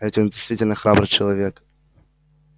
а ведь он действительно храбрый человек